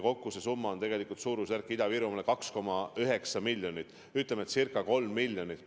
Kokku see summa Ida-Virumaale on 2,9 miljonit, ütleme, et ca 3 miljonit.